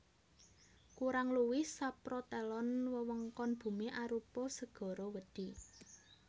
Kurang luwih saprotelon wewengkon bumi arupa segara wedhi